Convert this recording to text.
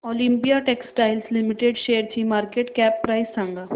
Olympia textiles limited शेअरची market cap price सांगा